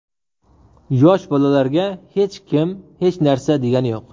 Yosh bolalarga hech kim hech narsa degani yo‘q.